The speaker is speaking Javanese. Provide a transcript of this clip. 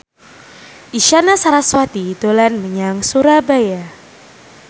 Isyana Sarasvati dolan menyang Surabaya